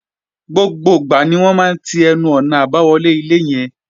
Gbogbo ìgbà ni wọ́n máa ń ti ẹnu-ọ̀nà àbáwọlé ilé yẹn